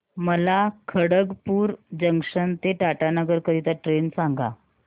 मला खडगपुर जंक्शन ते टाटानगर करीता ट्रेन सांगा